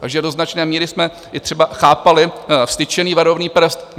Takže do značné míry jsme i třeba chápali vztyčený varovný prst.